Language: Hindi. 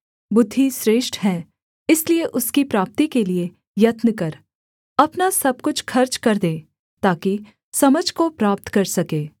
बुद्धि श्रेष्ठ है इसलिए उसकी प्राप्ति के लिये यत्न कर अपना सब कुछ खर्च कर दे ताकि समझ को प्राप्त कर सके